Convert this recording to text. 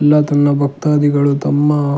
ಎಲ್ಲ ತನ್ನ ಭಕ್ತಾದಿಗಳು ತಮ್ಮ.